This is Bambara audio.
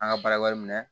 An ka baara wɛrɛ minɛ